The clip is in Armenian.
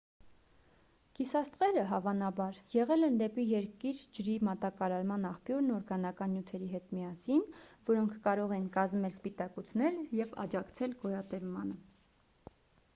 գիսաստղերը հավանաբար եղել են դեպի երկիր ջրի մատակարարման աղբյուրն օրգանական նյութերի հետ միասին որոնք կարող են կազմել սպիտակուցներ և աջակցել գոյատևմանը